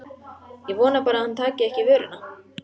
Ég vona bara að hann taki ekki í vörina.